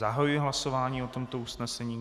Zahajuji hlasování o tomto usnesení.